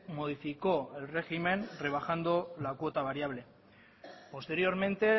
modificó el régimen rebajando la cuota variable posteriormente